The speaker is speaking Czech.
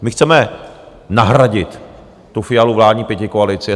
My chceme nahradit tu Fialovu vládní pětikoalici.